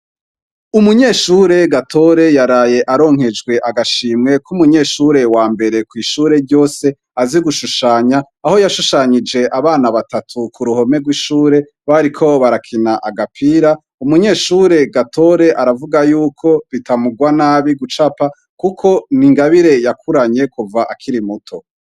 Umunyeshure gatore yaraye aronkejwe agashimweko umunyeshure wa mbere kw'ishure ryose azi gushushanya aho yashushanyije abana batatu ku ruhome rw'ishure bariko barakina agapira umunyeshure gatore aravuga yuko bitamugwa nabi gucapa, kuko ni ingabireyao kuranyye kuva akiri muto.